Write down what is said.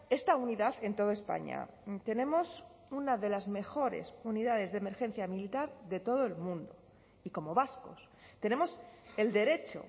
esta unidad en toda españa tenemos una de las mejores unidades de emergencia militar de todo el mundo y como vascos tenemos el derecho